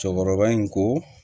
Cɛkɔrɔba in ko